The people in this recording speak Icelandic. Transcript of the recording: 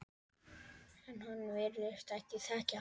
En hann virðist þekkja hana.